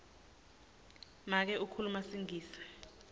make ukhuluma singisi